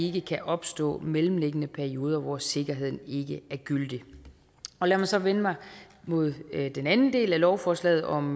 ikke kan opstå mellemliggende perioder hvor sikkerheden ikke er gyldig lad mig så vende mig mod den anden del af lovforslaget om